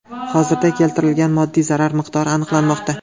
Hozirda keltirilgan moddiy zarar miqdori aniqlanmoqda.